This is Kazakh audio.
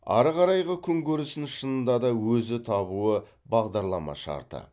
ары қарайғы күнкөрісін шынында да өзі табуы бағдарлама шарты